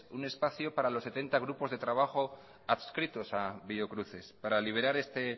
un espacio para los setenta grupos de trabajo adscritos a biocruces para liberar este